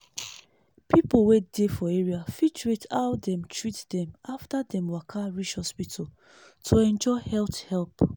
people wey dey for area fit rate how dem treat dem after dem waka reach hospital to enjoy health help.